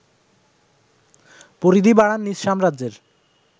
পরিধি বাড়ান নিজ সাম্রাজ্যের